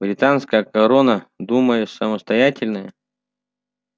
британская корона думаешь самостоятельная